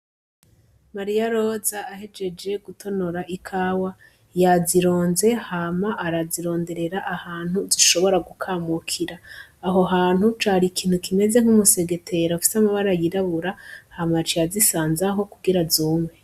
Mariyaroza ahejeje gutonora ikawa yazironze hama arazironderera ahantu zishobora gukamukira, aho hantu cari ikintu kimeze nkumu segetera ufise amabara y'irabura hama yaciye azisanzaho kugira zume.